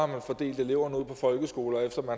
man fordelt eleverne ud på folkeskoler altså